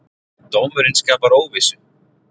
Dómurinn skapar óvissu